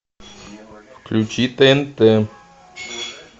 включи тнт